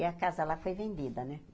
E a casa lá foi vendida, né?